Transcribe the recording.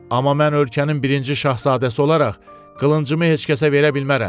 Amma mən ölkənin birinci şahzadəsi olaraq qılıncımı heç kəsə verə bilmərəm.